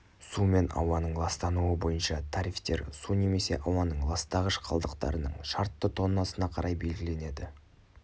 су мен ауаның ластануы бойынша тарифтер су немесе ауаның ластағыш қалдықтарының шартты тоннасына қарай белгіленеді